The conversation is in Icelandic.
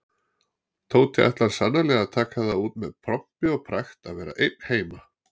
Tóti ætlar sannarlega að taka það út með pompi og pragt að vera einn heima.